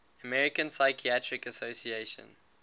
american psychiatric association